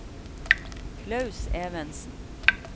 Klaus Evensen